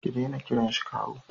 Ki dena kiran shi kawu